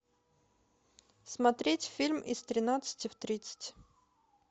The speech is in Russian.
смотреть фильм из тринадцати в тридцать